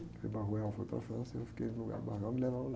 O frei foi para a França e eu fiquei no lugar do e me levaram lá.